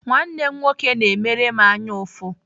Nwanne m nwoke na-emere m anyaụfụ.